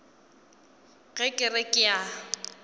ge ke re ke a